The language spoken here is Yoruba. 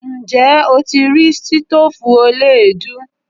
Ǹjẹ́ o ti rí stoofu eleedu?